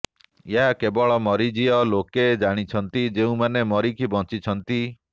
ଏହା କେବଳ ମରିଜୀୟ ଲୋକେ ଜାଣିଛନ୍ତି ଯୋଉମାନେ ମରିକି ବଣ୍ଚିଛନ୍ତି